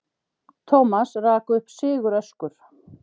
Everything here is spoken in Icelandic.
Thomas rak upp siguröskur.